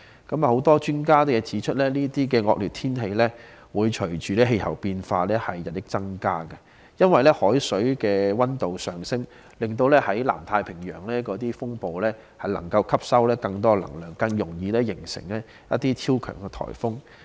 很多專家指出，這些惡劣天氣會隨着氣候變化而日益增加，因為海水水溫上升，令南太平洋的風暴吸收更多能量，更易形成超強颱風。